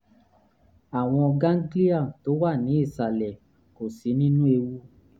àwọn gánglíà tó wà ní ìsàlẹ̀ kò sí nínú ewu